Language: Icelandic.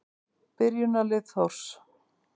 Byrjunarlið Þórs.